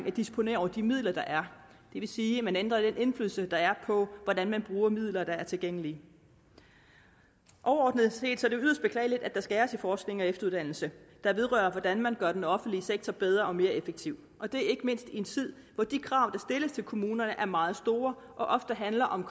at disponere over de midler der er det vil sige at man ændrer den indflydelse der er på hvordan man bruger midler der er tilgængelige overordnet set er det yderst beklageligt at der skæres i forskning og efteruddannelse der vedrører hvordan man gør den offentlige sektor bedre og mere effektiv og det ikke mindst i en tid hvor de krav der stilles til kommunerne er meget store og ofte handler om